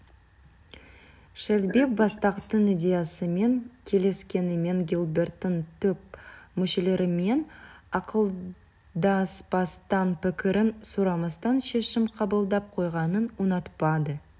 шелби бастықтың идеясымен келіскенімен гилберттің топ мүшелерімен ақылдаспастан пікірін сұрамастан шешім қабылдап қойғанын ұнатпады